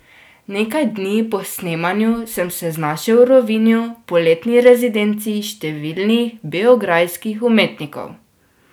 Nekaj dni po snemanju sem se znašel v Rovinju, poletni rezidenci številnih beograjskih umetnikov.